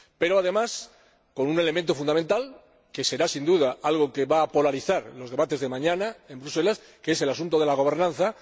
Pero, además, con un elemento fundamental que será, sin duda algo que va a polarizar los debates de mañana en Bruselas, que es el asunto de la gobernanza.